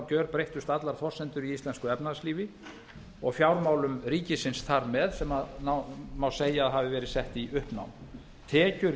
gjörbreyttust allar forsendur í íslensku efnahagslífi og fjármálum ríkisins þar með sem má segja að hafi verið sett í uppnám tekjur